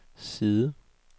side